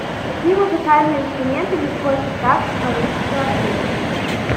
какие музыкальные инструменты не входят в состав симфонического оркестра